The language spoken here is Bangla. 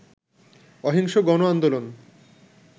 অহিংস গণ আন্দোলন